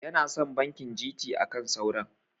Yana son banki GT akan sauran.